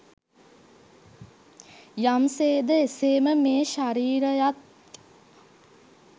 යම් සේද එසේම මේ ශරීරයත්